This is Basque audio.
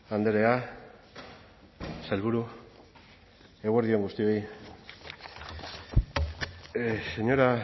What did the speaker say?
andrea sailburu eguerdi on guztioi señora